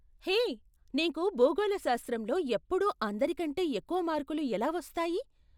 హే, నీకు భూగోళశాస్త్రంలో ఎప్పుడూ అందరికంటే ఎక్కువ మార్కులు ఎలా వస్తాయి?